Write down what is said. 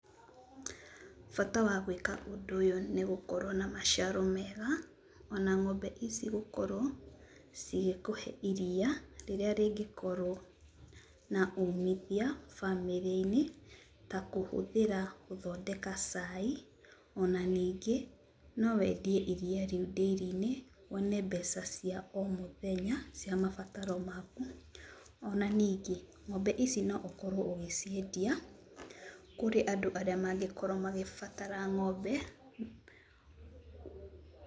Bata wa gwĩka ũndũ ũyũ nĩgũkorwo na maciaro mega, ona ng'ombe ici gũkorwo, cigĩkũhe iria, rĩrĩa rĩngĩkorwo na umithia bamĩrĩinĩ, ta kũhũthĩra gũthondeka cai, ona ningĩ, no wendie iria rĩu ndĩrinĩ, wone mbeca cia o mũthenya, cia mabataro maku. Ona ningĩ ng'ombe ici no ũkorwo ũgĩciendia, kũrĩ andũ arĩa mangĩkorwo makĩbatara ng'ombe.